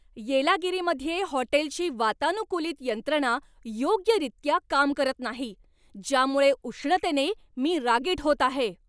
येलागिरीमध्ये हॉटेलची वातानुकूलित यंत्रणा योग्यरित्या काम करत नाही, ज्यामुळे उष्णतेने मी रागीट होत आहे.